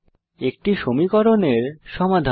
একটি সমীকরনের সমাধান